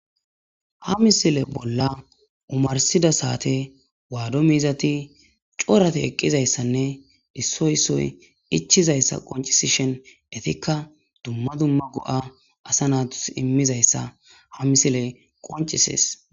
ha misile bolla umarsida saate waado miizati corate eqqizayssanne issoysoy ichizayssa qoncisishen etikka dumma dumma go7a asa naatus immizayssa ha misile qoncisees